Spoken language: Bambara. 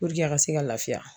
a ka se ka lafiya